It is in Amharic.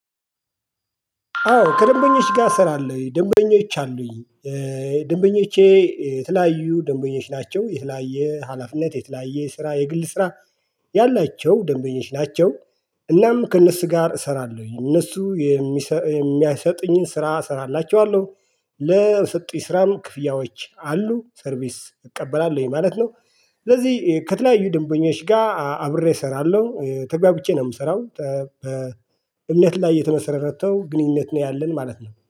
አዎ ከደንበኞች ጋር ስራለው ደንበኞች አሉኝ ደንበኞቼ የተለያዩ ደንበኞች ናቸው የተለያየ ሀላፊነት የተለያየ ስራ የግል ስራ ያላቸው ደንበኞች ናቸው። እናም ከእነሱ ጋር እሰራለሁኝ እነሱ የሚሰጥ የሚያሰጥኝን ስራ እሰራላችኋለሁ ለሰጡኝ ስራም ክፍያዎች አሉ ሰርቪስ እቀበላለሁኝ ማለት ነው። ስለዚህ ከተለያዩ ደንበኞች ጋር አብሬ እሰራለሁ ተግባብቼ ነው የምሰራው። በእምነት ላይ የተመሰረተው ግንኙነት ነው ያለን ማለት ነው